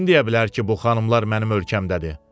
Kim deyə bilər ki, bu xanımlar mənim ölkəmdədir?